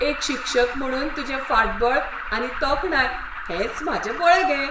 एक शिक्षक म्हुणून तुजें फाटबळ आनी तोखणाय हेंच म्हाजें बळगें.